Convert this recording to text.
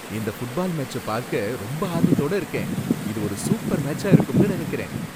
இந்த ஃபுட்பால் மேட்ச்ச பார்க்க ரொம்ப ஆர்வத்தோட இருக்கேன். இது ஒரு சூப்பர் மேட்ச்சா இருக்கும்னு நினைக்கிறேன்.